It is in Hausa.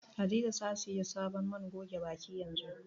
Hadiza tana siyan sabon man goge baki yanzu.